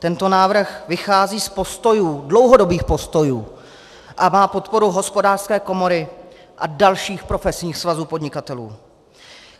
Tento návrh vychází z postojů, dlouhodobých postojů, a má podporu Hospodářské komory a dalších profesních svazů podnikatelů.